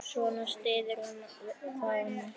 Svona styður hvað annað.